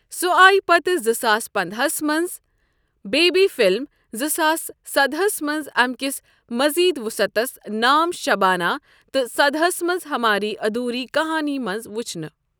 سۄ آیہ پتہٕ زٕ ساس پنداہَس منٛز بیبی فلِم، زٕ ساس سداہَس منٛز امہِ كِس مزید وُصعتس نام شبانہ تہٕ سداہَس منٛز ہماری آدھوری کہانی منٛز وُچھنہٕ ۔